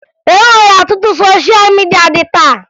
E nwere ọtụtụ sosha midia dị taa